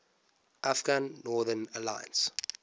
afghan northern alliance